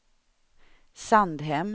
Sandhem